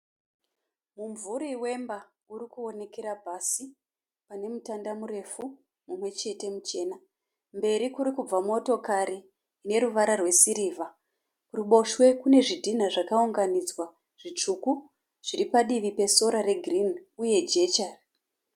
Mumvuri wemba uri kuonekera pasi pane mutanda murefu mumwe chete muchena. Mberi kuri kubva motokari ine ruvara rwesirivha. Kuruboshwe kune zvidhina zvakaunganidzwa zvitsvuku zviri padivi pesora regirini uye jecha.